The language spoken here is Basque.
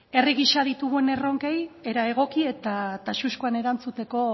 herri giza ditugun erronkei era egoki eta taxuzkoan erantzuteko